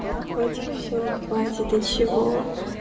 котик всё хватит ты чего